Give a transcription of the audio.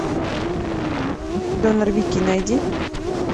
донор вики найди